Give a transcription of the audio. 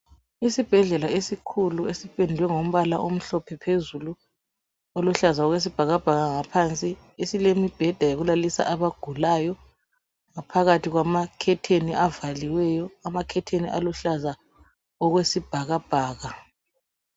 Isibhedlela esikhulu esipendwe ngombala omhlophe phezulu .Oluhlaza okwesibhakabhaka ngaphansi .Esilembheda yokulalisa abagulayo . Phakathi kwamakhetheni avaliweyo .Amakhetheni aluhlaza okwesibhakabhaka .